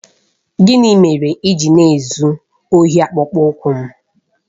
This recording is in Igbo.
Gịnị mere i ji na-ezu ohi akpụkpọ ụkwụ m?